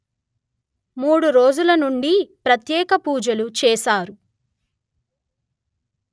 మూడు రోజులనుండి ప్రత్యేక పూజలు చేశారు